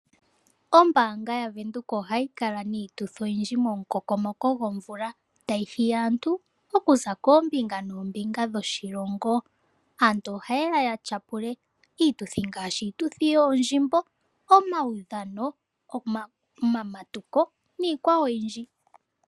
Ombanga yaVenduka ohayi kala niituthi oyindji komukokomoko gwomvula tayi hiya aantu okuza koombinga noombinga dhoshilongo aantu ohaye ya tyapule iituthi ngaashi iituthi yoondjimbo, omaudhano, omamatuko niikwawo oyindji.